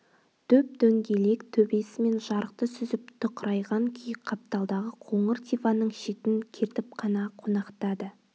дөп-дөңгелек төбесімен жарықты сүзіп тұқырайған күй қапталдағы қоңыр диванның шетін кертіп қана қонақтады